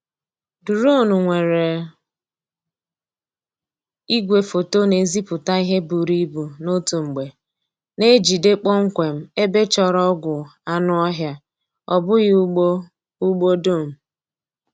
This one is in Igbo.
Duronu nwere igwefoto na-ezipụta ihe buru ibu n'otu mgbe na-ejide kpọmkwem ebe chọrọ ọgwụ anụ ọhịa, ọ bụghị ugbo ugbo dum.